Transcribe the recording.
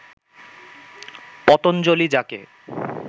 পতঞ্জলি যাকে